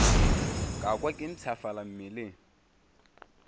ka kwa ke mpshafala mmeleng